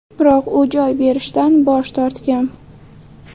Biroq u joy berishdan bosh tortgan.